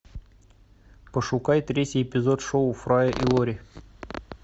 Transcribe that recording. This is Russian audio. пошукай третий эпизод шоу фрая и лори